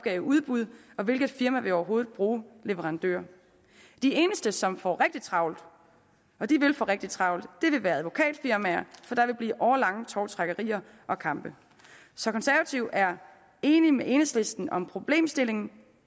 i udbud og hvilket firma vil overhovedet bruge leverandører de eneste som får rigtig travlt og de vil få rigtig travlt vil være advokatfirmaer for der vil blive årelange tovtrækkerier og kampe så konservative er enige med enhedslisten om problemstillingen